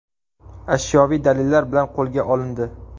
ashyoviy dalillar bilan qo‘lga olindi.